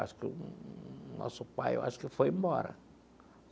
Acho que o nosso pai, eu acho que ele foi embora.